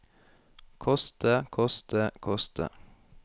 koste koste koste